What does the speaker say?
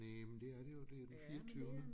Næ men det er det jo det er den fireogtyvende